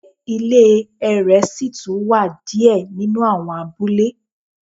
Se ile ẹrẹ si tun wa ni diẹ ninu awọn abule